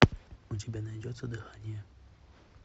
у тебя найдется дыхание